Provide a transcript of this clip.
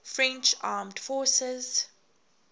french armed forces